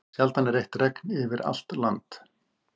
Sjaldan er eitt regn yfir allt land.